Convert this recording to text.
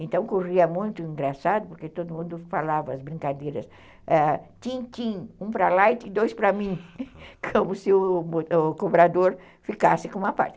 Então, corria muito engraçado, porque todo mundo falava as brincadeiras ãh tim-tim, um para lá e dois para mim, como se o cobrador ficasse com uma parte.